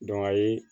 ayi